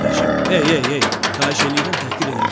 ey ey ey, xahiş eləyirəm təhqir eləməyin,